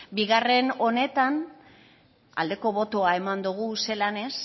bigarren honetan aldeko botoa eman dugu zelan ez